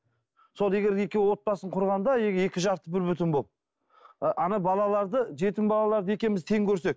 сол егер де екеуі отбасын құрғанда екі жас бір бүтін болып ы ана балаларды жетім балаларды екеуміз тең көрсек